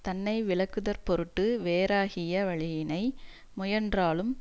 தன்னை விலக்குதற்பொருட்டு வேறாகிய வழியினை முயன்றாலும்